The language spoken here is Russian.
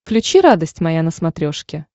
включи радость моя на смотрешке